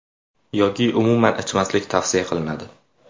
Yoki umuman ichmaslik tavsiya qilinadi.